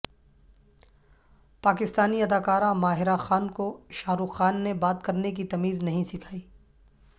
پاکستانی اداکارہ ماہرہ خان کو شاہ رخ خان نے بات کرنے کی تمیز نہیں سکھائی